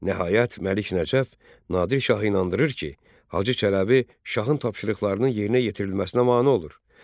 Nəhayət, Məlik Nəcəf Nadir şahı inandırır ki, Hacı Çələbi şahın tapşırıqlarının yerinə yetirilməsinə mane olur.